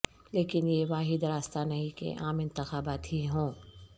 لیکن یہ واحد راستہ نہیں کہ عام انتخابات ہی ہوں